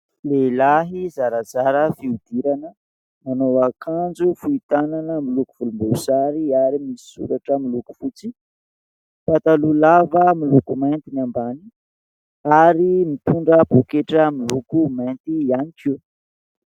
lehilahy zarazara fiodirana nanao akanjo fohitanana miloako volom-boasary ary misy soratra miloako fotsy ,pataloa lava moloko mainty ny ambany ,ary mitondra poaketra miloako mainty ihany koa